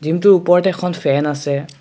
জিমটোৰ ওপৰত এখন ফেন আছে।